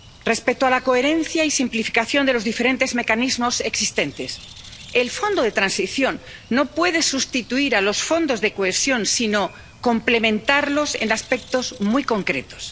Respecto a la coherencia y simplificación de los diferentes mecanismos existentes, el Fondo de Transición no puede sustituir a los Fondos de Cohesión, sino complementarlos en aspectos muy concretos.